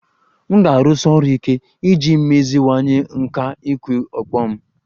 M ga-arụsi ọrụ ike iji meziwanye nkà ịkụ ọkpọ m